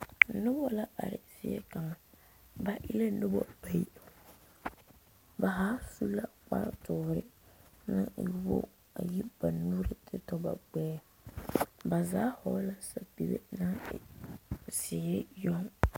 Noba la are zie kaŋa ba e la noba bayi ba zaa su la kpare doɔre naŋ e wogi ba zaa vɔgle sapele naŋ e ziiri yoŋ.